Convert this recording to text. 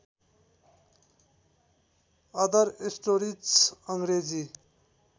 other stories Angrezi